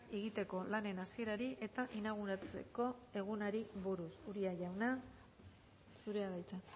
egiteko lanen hasierari eta inauguratzeko egunari buruz uria jauna zurea da hitza